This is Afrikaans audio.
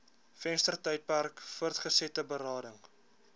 venstertydperk voortgesette berading